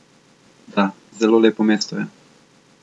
Da, zelo lepo mesto je.